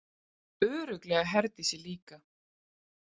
Örugglega Herdísi líka.